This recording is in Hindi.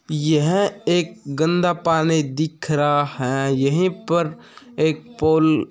यह एक गंदा पानी दिख रहा है यही पर एक पोल --